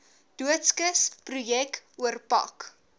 doodskis projek oorpak